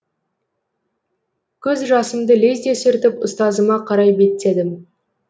көз жасымды лезде сүртіп ұстазыма қарай беттедім